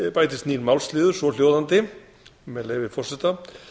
bætist nýr málsliður svohljóðandi með leyfi forseta